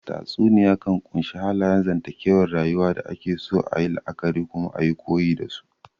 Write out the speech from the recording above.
Tatsuniya kan ƙunshi halayen zantakewar rayuwa da ake so ayi la'akari kuma ayi koyi dasu